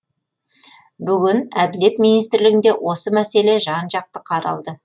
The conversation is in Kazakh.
бүгін әділет министрлігінде осы мәселе жан жақты қаралды